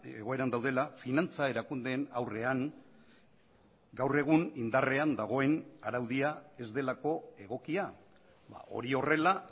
egoeran daudela finantza erakundeen aurrean gaur egun indarrean dagoen araudia ez delako egokia hori horrela